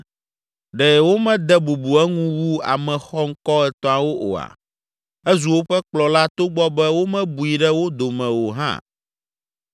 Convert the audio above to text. Ɖe womede bubu eŋu wu ame xɔŋkɔ etɔ̃awo oa? Ezu woƒe kplɔla togbɔ be womebui ɖe wo dome o hã.